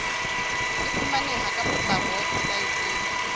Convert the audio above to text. e fumaneha ka potlako weposaeteng